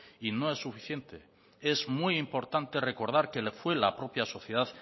y no es suficiente es muy importante recordar que fue la propia sociedad